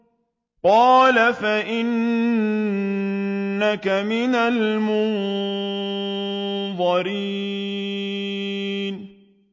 قَالَ فَإِنَّكَ مِنَ الْمُنظَرِينَ